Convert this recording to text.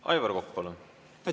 Aivar Kokk, palun!